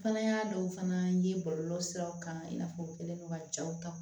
Fana y'a dɔw fana ye bɔlɔlɔ siraw kan i n'a fɔ u kɛlen don ka jaw ta